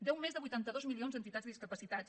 deu més de vuitanta dos milions a entitats de discapacitats